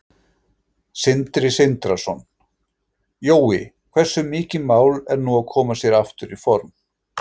Sindri Sindrason: Jói, hversu mikið mál er nú að koma sér aftur í form?